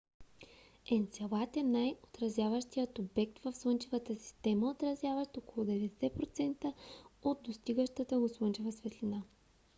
енцелад е най - отразяващият обект в слънчевата система отразяващ около 90 процента от достигащата го слънчева светлина